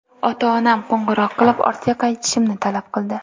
Ota-onam qo‘ng‘iroq qilib, ortga qaytishimni talab qildi.